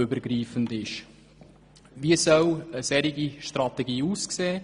Wie soll eine solche Strategie aussehen?